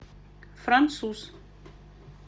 француз